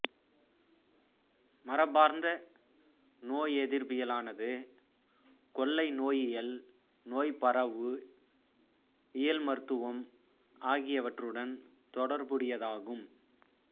மரபார்ந்த நோயெதிர்ப்பியலானது கொள்ளை நோயியல் நோய்ப்பரவு இயல் மருத்துவம் ஆகியவற்றுடன் தொடர்புடையதாகும்